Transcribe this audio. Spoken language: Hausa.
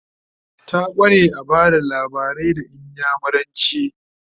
ta kware a Bada labarai da inyamuranci